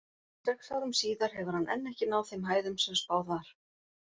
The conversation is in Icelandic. Sex árum síðar hefur hann enn ekki náð þeim hæðum sem spáð var.